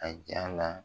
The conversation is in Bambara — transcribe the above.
A ja la